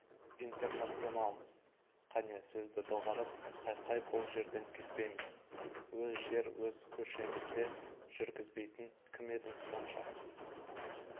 интернационалмыз қане сөзді доғарып қайқай бұл жерден кетпейміз өз жер өз көшемізде жүргізбейтін кім едің сонша